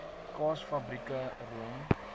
kaas fabrieke room